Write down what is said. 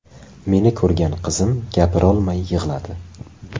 Meni ko‘rgan qizim gapirolmay yig‘ladi.